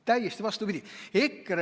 Täiesti vastupidi!